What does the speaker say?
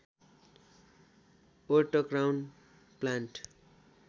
वर्ट crown plant